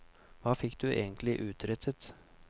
Hva fikk du egentlig utrettet?